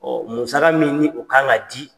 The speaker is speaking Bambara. musaka min ni o ka ŋa di